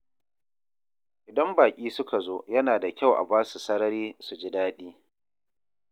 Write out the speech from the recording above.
Idan baƙi suka zo, yana da kyau a ba su sarari su ji daɗi.